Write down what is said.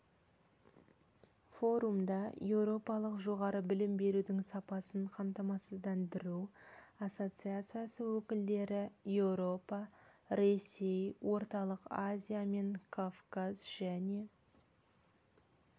форумда еуропалық жоғары білім берудің сапасын қамтамасыздандыру ассоциациясы өкілдері еуропа ресей орталық азия мен кавказ және